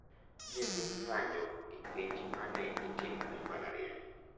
Ne dhi ng’anjo gi penj ma ne itimo e mbalariany.